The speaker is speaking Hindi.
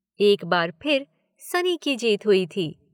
एक बार फिर सनी की जीत हुई थी।